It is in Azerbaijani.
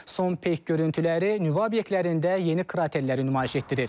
Son peyk görüntüləri nüvə obyektlərində yeni kraterləri nümayiş etdirir.